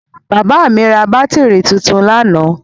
Bàbá mi ra bátírí tuntun lánàá.